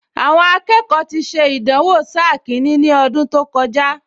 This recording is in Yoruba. Àwọn akẹ́kọ̀ọ ti ṣe ìdánwò sáà kìíní ní ọdún tó kọjá